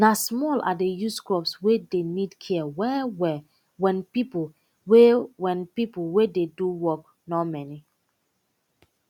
na small i dey use crops wey dey need care well well wen pipo wey wen pipo wey dey do work nor many